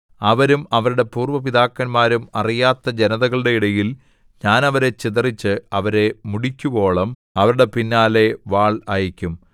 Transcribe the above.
അവരും അവരുടെ പൂര്‍വ്വ പിതാക്കന്മാരും അറിയാത്ത ജനതകളുടെ ഇടയിൽ ഞാൻ അവരെ ചിതറിച്ച് അവരെ മുടിക്കുവോളം അവരുടെ പിന്നാലെ വാൾ അയയ്ക്കും